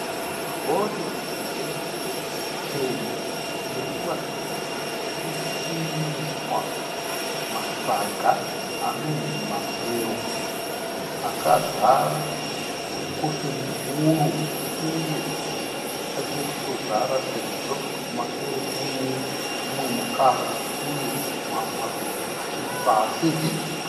Rori huru chena iri kuratidza kuti iri kuiswa masaga anonzi mabhero akazara nekotoni wuru uye haisati yanyatsokutozara sezvo kumashure kune mumwe mukaha uye mamwe mabhero achiri pasi.